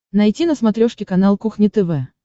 найти на смотрешке канал кухня тв